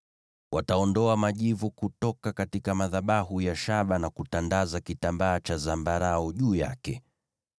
“Wataondoa majivu kutoka madhabahu ya shaba na kutandaza kitambaa cha zambarau juu yake.